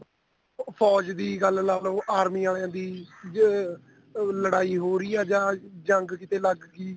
ਫੋਜ ਦੀ ਗੱਲ ਲਾਲੋ army ਵਾਲੀਆਂ ਦੀ ਜੇ ਲੜਾਈ ਹੋ ਰਹੀ ਏ ਜਾਂ ਜੰਗ ਕੀਤੇ ਲੱਗਗੀ